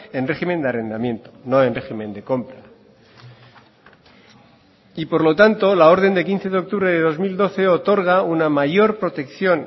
en régimen de arrendamiento no en régimen de compra y por lo tanto la orden de quince de octubre de dos mil doce otorga una mayor protección